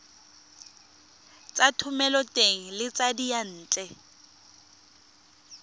tsa thomeloteng le tsa diyantle